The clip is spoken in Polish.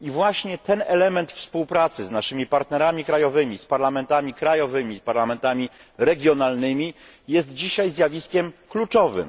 Właśnie ten element współpracy z naszymi partnerami krajowymi, z parlamentami krajowymi, z parlamentami regionalnymi jest dzisiaj zjawiskiem kluczowym.